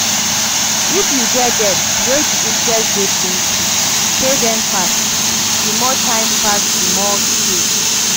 If you get debt wey di interest dey plenty, pay dem fast, di more time pass di more you pay